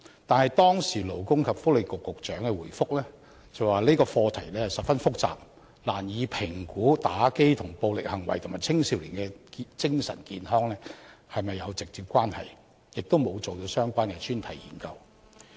但是，當時勞工及福利局局長回覆說，這個課題十分複雜，難以評估玩遊戲機跟暴力行為和青少年的精神健康是否有直接關係，亦沒有進行相關的專題研究。